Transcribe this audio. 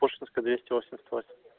тушинская двести восемьдесят восемь